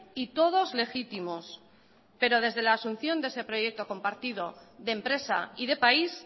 y todos legítimos pero desde la asunción de ese proyecto compartido de empresa y de país